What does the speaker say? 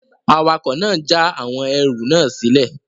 Awakọ̀ náà n já àwọn ẹrù náà sílẹ̀